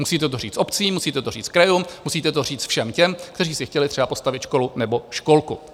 Musíte to říct obcím, musíte to říct krajům, musíte to říct všem těm, kteří si chtěli třeba postavit školu nebo školku.